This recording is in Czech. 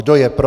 Kdo je pro?